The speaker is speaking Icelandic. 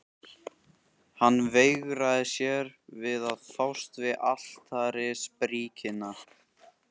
Hann veigraði sér við að fást við altarisbríkina.